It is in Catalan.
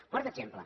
quart exemple